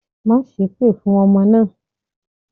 Má sépè fún ọmọ náà!